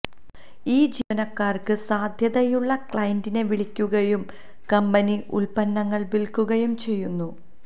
ഈ ജീവനക്കാർക്ക് സാധ്യതയുള്ള ക്ലയന്റിനെ വിളിക്കുകയും കമ്പനി ഉൽപ്പന്നങ്ങൾ വിൽക്കുകയും ചെയ്യുന്നു